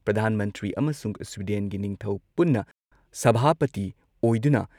ꯄ꯭ꯔꯙꯥꯟ ꯃꯟꯇ꯭ꯔꯤ ꯑꯃꯁꯨꯡ ꯁ꯭ꯋꯤꯗꯦꯟꯒꯤ ꯅꯤꯡꯊꯧ ꯄꯨꯟꯅ ꯁꯚꯥꯄꯇꯤ ꯑꯣꯏꯗꯨꯅ